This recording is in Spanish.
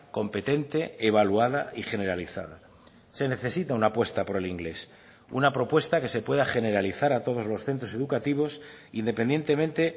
competente evaluada y generalizada se necesita una apuesta por el inglés una propuesta que se pueda generalizar a todos los centros educativos independientemente